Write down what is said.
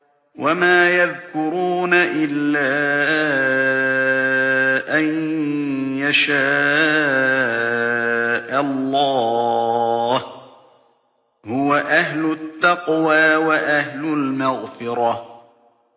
وَمَا يَذْكُرُونَ إِلَّا أَن يَشَاءَ اللَّهُ ۚ هُوَ أَهْلُ التَّقْوَىٰ وَأَهْلُ الْمَغْفِرَةِ